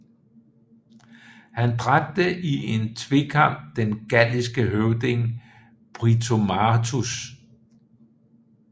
Han dræbte i en tvekamp den galliske høvding Britomartus